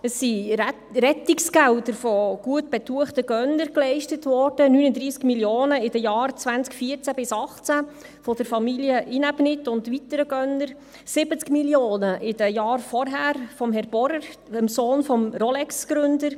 – Es wurden Rettungsgelder von gutbetuchten Gönnern geleistet, 39 Mio. Franken in den Jahren 2014 bis 2018 von der Familie Inäbnit und weiteren Gönnern, 70 Mio. Franken von Herrn Borer, dem Sohn des Rolex-Gründers.